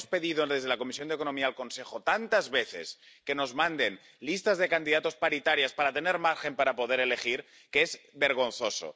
Le hemos pedido desde la Comisión de Asuntos Económicos al Consejo tantas veces que nos manden listas de candidatos paritarias para tener margen para poder elegir que es vergonzoso.